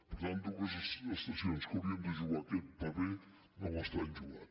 per tant dues estacions que haurien de jugar aquest paper no l’estan jugant